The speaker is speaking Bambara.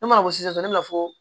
Ne mana bɔ sisan ne b'a fɔ